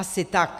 Asi tak.